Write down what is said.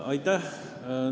Aitäh!